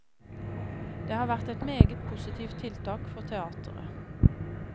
Det har vært et meget positivt tiltak for teateret.